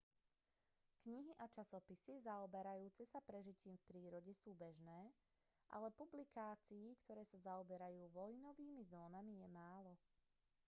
knihy a časopisy zaoberajúce sa prežitím v prírode sú bežné ale publikácií ktoré sa zaoberajú vojnovými zónami je málo